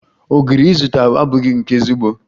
Ogiri izụta abụghi nke ezigbo